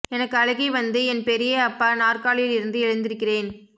எனக்கு அழுகை வந்து என் பெரிய அப்பா நாற்காலியில் இருந்து எழுந்திருக்கிறேன்